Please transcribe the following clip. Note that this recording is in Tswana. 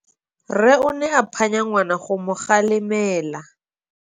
Rre o ne a phanya ngwana go mo galemela.